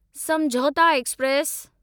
समझौता एक्सप्रेस